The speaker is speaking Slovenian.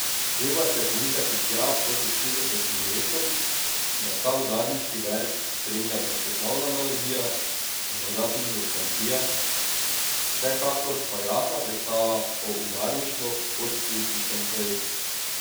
Treba se je pomikati tja proti šestdesetim letom, da ta udarniški verz spremlja prepoznavna melodija, morda tudi nostalgija, vsekakor pa jasna predstava o udarništvu kot političnem projektu.